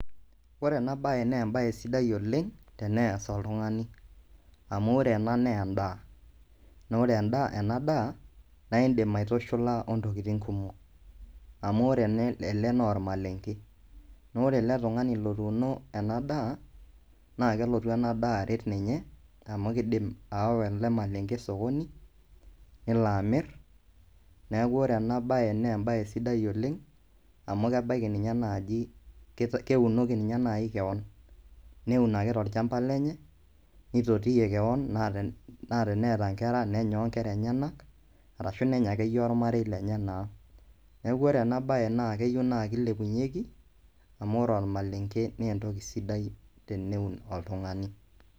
Ore enabae nebae sidai oleng tenees oltung'ani. Amu ore ena nendaa. Na ore enadaa, na idim aitushula ontokiting kumok. Amu ore ele naa ormalenke. Nore ele tung'ani lotuuno enadaa, na kelotu enadaa aret ninye, amu kidim aawa ele malenke osokoni, nelo amir, neeku ore enabae nebae sidai oleng, amu kebaiki ninye naaji keunoki ninye nai keon. Neun ake tolchamba lenye, nitotiyie keon na teneeta nkera nenya onkera enyanak, arashu nenya akeyie ormarei lenye naa. Neeku ore enabae naa keyieu naa kilepunyeki, amu ore ormalenke nentoki sidai teneun oltung'ani.